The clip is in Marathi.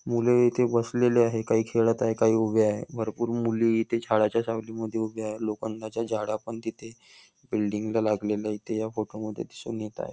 मुल इथे बसलेली आहे काही खेळात आहे काही उभे आहे भरपूर मुली झाडाच्या सावली मध्ये उभ्या आहे लोखंडाच्या जाळ्यापण तिथे बिल्डिंग ला लागलेल्या इथे ह्या फोटो मध्ये दिसून येत आहे.